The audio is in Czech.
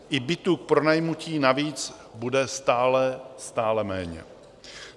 I bytů k pronajmutí navíc bude stále, stále méně.